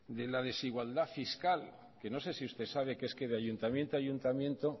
de la desigualdad fiscal que no sé si usted sabe que es que de ayuntamiento a ayuntamiento